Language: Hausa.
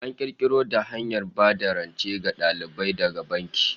An kirkiro da hanyar ba da rance ga dalibai daga banki